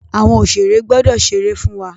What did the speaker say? Àwọn oṣèré gbọdọ̀ ṣeré fún wa.